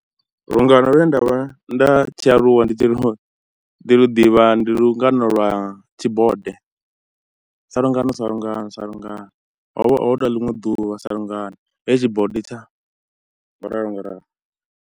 Lungano lune nda vha nda tshi aluwa ndi tshi ḓi lu ḓivha ndi lungana lwa tshibode, salungano salungano salungano ho vha hu na ḽiṅwe ḓuvha, salungano he tshibode tsha ngo ralo ngo ralo.